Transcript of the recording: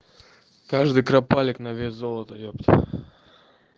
каждый кропалик на вес золота епта